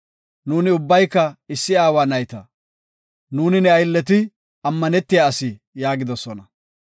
Nuuni ubbayka issi aawa nayta. Nuuni ne aylleti ammanetiya asi” yaagidosona.